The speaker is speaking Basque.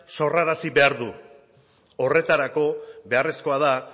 sorrarazi behar du horretarako beharrezkoa da